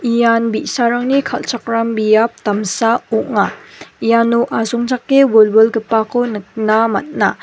ian bi·sarangni kal·chakram biap damsa ong·a iano asongchake wilwilgipako nikna man·a.